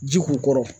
Ji k'u kɔrɔ